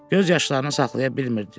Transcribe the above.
Göz yaşlarını saxlaya bilmirdi.